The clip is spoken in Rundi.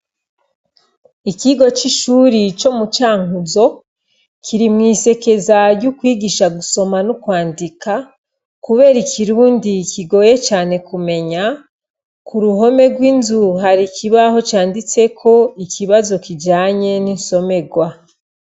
Ikigo c' ishure co mu Cankuzo kiri mwisekeza ryo kwigisha gusoma no kwandika kubera ikirundi kigoye cane kumenya ku ruhome gw' inzu hari ikibaho canditseko ikibazo kijanye n' insomegwa.